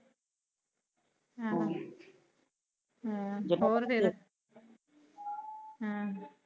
ਹਮ ਹਾ ਹੋਰ ਫੇਰ ਏਹਮ